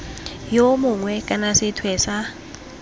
yo mongwe kana sethwe sa